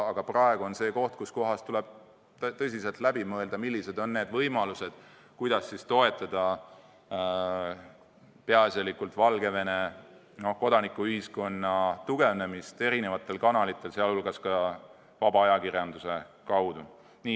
Aga praegu on see koht, kus tuleb tõsiselt läbi mõelda, millised on meie võimalused toetada peaasjalikult Valgevene kodanikuühiskonna tugevnemist erinevate kanalite, sh vaba ajakirjanduse kaudu.